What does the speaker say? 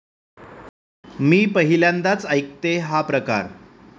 मी पहिल्यांदाच ऐकतेय हा प्रकार.